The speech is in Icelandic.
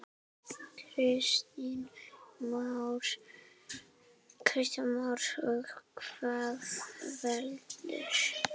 Kristján Már: Og hvað veldur?